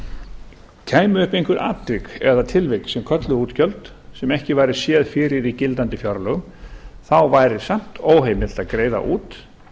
orðum kæmu upp einhver atvik eða tilvik sem kölluðu á útgjöld sem ekki væri séð fyrir í gildandi fjárlögum þá væri samt óheimilt að greiða út